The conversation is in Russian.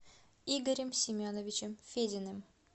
игорем семеновичем фединым